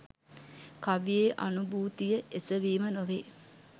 කවියේ අනුභූතිය එසවීම නොවේ